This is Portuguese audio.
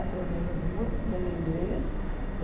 Aprendemos muito bem inglês.